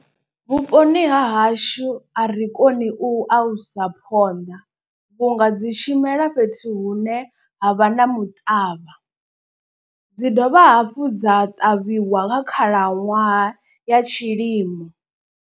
Vhuponi ha hashu a ri koni u alusa phonḓa vhunga dzi tshimela fhethu hune ha vha na muṱavha. Dzi dovha hafhu dza ṱavhiwa nga khalaṅwaha ya tshilimo.